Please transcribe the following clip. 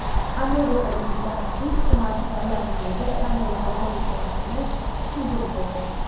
Amerikalik mutaxassis smartfonlar miyaga qanday zarar yetkazishini tushuntirib berdi.